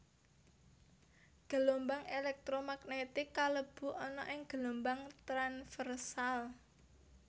Gelombang elektro magnetik kalebu ana ing gelombang tranversal